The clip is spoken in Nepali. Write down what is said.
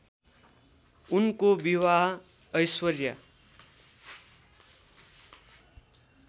उनको विवाह ऐश्वर्या